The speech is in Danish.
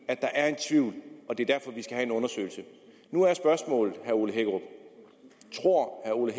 at der er en tvivl og det er derfor vi skal have en undersøgelse nu er spørgsmålet tror herre ole